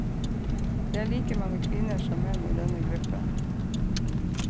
Det er like mange kvinner som menn i denne gruppen.